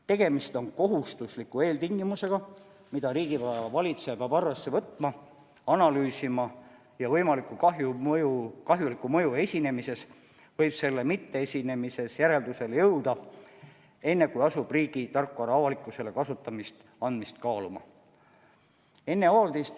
Tegemist on kohustusliku eeltingimusega, mida riigivara valitseja peab arvesse võtma, analüüsima ja võimaliku kahjuliku mõju esinemises või selle mitteesinemises järeldusele jõudma, enne kui asub riigi tarkvara avalikkusele kasutamiseks andmist kaaluma.